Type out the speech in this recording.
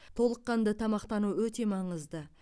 толыққанды тамақтану өте маңызды